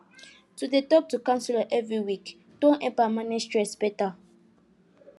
to dey talk to counselor every week don help am manage stress better